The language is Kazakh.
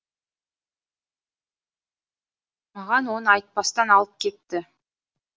маған оны айтпастан алып кепті